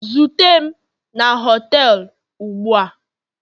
zute m na họtelu ugbua.